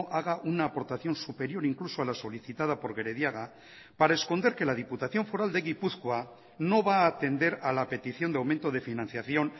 haga una aportación superior incluso a la solicitada por gerediaga para esconder que la diputación foral de gipuzkoa no va a atender a la petición de aumento de financiación